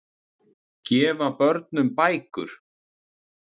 Gefa börnum bækur